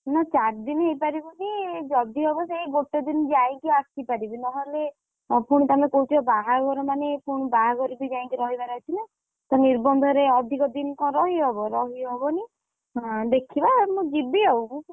ନା ଚାର ଦିନି ହେଇପାରିବନି ଯଦି ହବ ସେଇ ଗୋଟେ ଦିନ ଯାଇକି ଆସିପାରିବି ନହେଲେ ପୁଣି ତମେ କହୁଛ ବାହାଘର ମାନେ ପୁଣି ବାହାଘରେ ବିଯାଇକି ରହିବାର ଅଛି ନା, ତ ନିର୍ବନ୍ଧ ରେ ଅଧିକ ଦିନି କଣ ରହିହେବ ରହିହବନି ଅ ଦେଖିବା ମୁଁ ଯିବି ଆଉ,